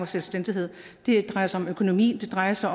selvstændighed det drejer sig om økonomi det drejer sig